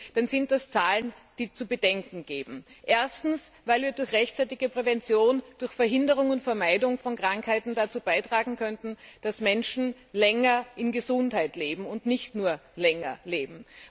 dann sind das Zahlen, die zu denken geben Erstens, weil wir durch rechtzeitige Prävention, durch Verhinderung und Vermeidung von Krankheiten dazu beitragen könnten, dass Menschen länger in Gesundheit leben und nicht nur länger leben.